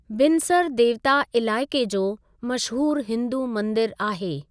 बिनसर देवता इलाइक़े जो मशहूर हिंदू मंदिर आहे।